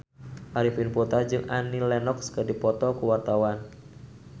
Arifin Putra jeung Annie Lenox keur dipoto ku wartawan